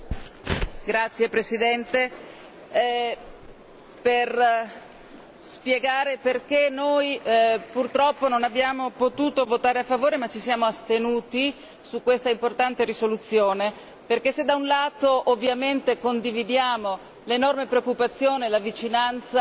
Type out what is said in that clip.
Signora Presidente, onorevoli colleghi, per spiegare perché noi purtroppo non abbiamo potuto votare a favore, ma ci siamo astenuti su questa importante risoluzione, perché se da un lato ovviamente condividiamo l'enorme preoccupazione e la vicinanza